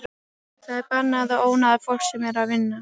Það er bannað að ónáða fólk sem er að vinna.